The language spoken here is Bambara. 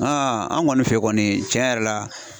an kɔni fɛ kɔni cɛn yɛrɛ la